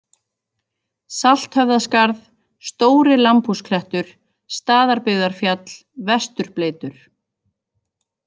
Salthöfðaskarð, Stóri-Lambhúsklettur, Staðarbyggðarfjall, Vesturbleytur